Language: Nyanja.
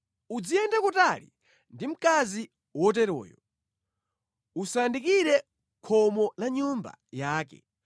Uziyenda kutali ndi mkazi wotereyo, usayandikire khomo la nyumba yake,